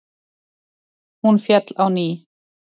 Hún féll á ný.